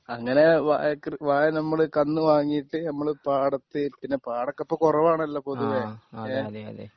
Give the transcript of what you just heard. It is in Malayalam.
അങ്ങനെ വായ കൃ വാഴ നമ്മള് കന്ന് വാങ്ങിയിട്ട് നമ്മള് പാടത്ത് പിന്നെ പാടം ഒക്കെ ഇപ്പം കുറവാണല്ലോ പൊതുവേ ഏ